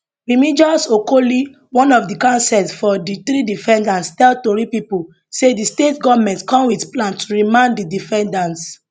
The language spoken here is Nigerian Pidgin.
remigus okoli one of the counsels for for di three defendants tell tori pipo say di state goment come wit plan to remand di defendants